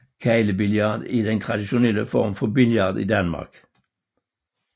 Keglebillard er den traditionelle form for billard i Danmark